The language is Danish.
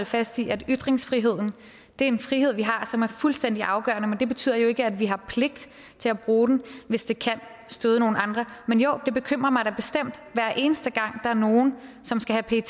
fast i at ytringsfriheden er en frihed vi har som er fuldstændig afgørende men det betyder jo ikke at vi har pligt til at bruge den hvis det kan støde nogle andre men jo det bekymrer mig da bestemt hver eneste gang der er nogen som skal have pet